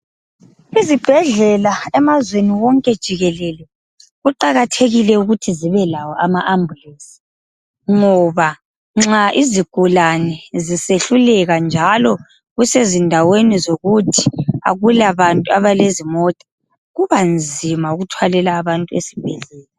Izibhedlela emazweni wonke jikelele kuqakathekile ukuthi zibe lawo ama ambulenzi. Ngoba nxa izigulane zisehluleka njalo kusezindaweni zokuthi akula bantu abalezimota, kuba nzima ukuthwalela abantu ezibhedlela .